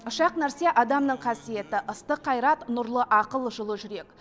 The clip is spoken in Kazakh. үш ақ нәрсе адамның қасиеті ыстық қайрат нұрлы ақыл жылы жүрек